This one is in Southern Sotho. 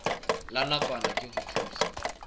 la nakwana ke ho thusa